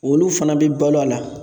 Olu fana bi balo a la